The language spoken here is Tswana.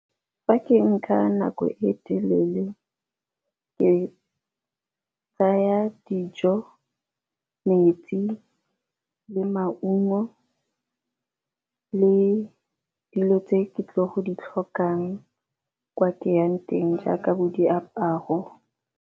Fa ke nka nako e telele ke tsaya dijo, metsi, le maungo le dilo tse ke tlile go di tlhokang kwa ke yang teng jaaka bo diaparo.